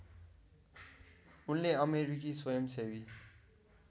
उनले अमेरिकी स्वयंसेवी